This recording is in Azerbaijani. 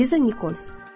Liza Nikols.